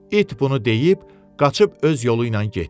İt bunu deyib qaçıb öz yolu ilə getdi.